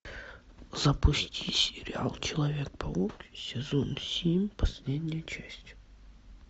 запусти сериал человек паук сезон семь последняя часть